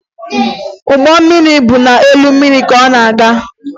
Ụgbọ mmiri bụ n'elu mmiri ka ọ na-aga